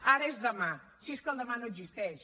ara és demà si és que el demà no existeix